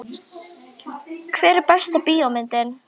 Hver er besta bíómyndin?